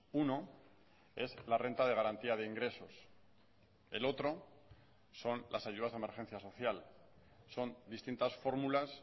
uno es la renta de garantía de ingresos el otro son las ayudas de emergencia social son distintas fórmulas